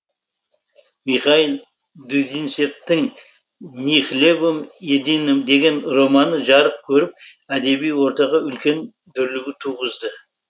михаил дудинцевтің ни хлебом единым деген романы жарық көріп әдеби ортаға үлкен дүрлігу туғызды